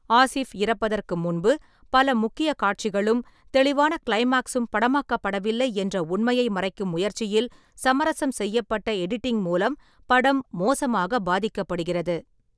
ஆசிஃப் இறப்பதற்கு முன்பு பல முக்கிய காட்சிகளும் தெளிவான க்ளைமாக்ஸும் படமாக்கப்படவில்லை என்ற உண்மையை மறைக்கும் முயற்சியில் சமரசம் செய்யப்பட்ட எடிட்டிங் மூலம் படம் மோசமாக பாதிக்கப்படுகிறது.